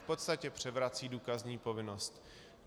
V podstatě převrací důkazní povinnost.